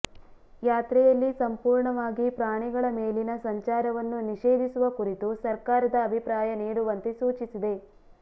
ಯಾತ್ರೆಯಲ್ಲಿ ಸಂಪೂರ್ಣವಾಗಿ ಪ್ರಾಣಿಗಳ ಮೇಲಿನ ಸಂಚಾರವನ್ನು ನಿಷೇಧಿಸುವ ಕುರಿತು ಸರ್ಕಾರದ ಅಭಿಪ್ರಾಯ ನೀಡುವಂತೆ ಸೂಚಿಸಿದೆ